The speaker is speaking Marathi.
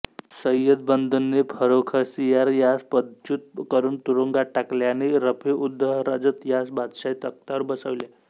सय्यद बंधूंनी फर्रुखसियार यास पदच्युत करून तुरुंगात टाकले आणि रफीउद्दरजत यास बादशाही तख्तावर बसविले